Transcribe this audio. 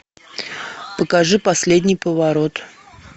покажи последний поворот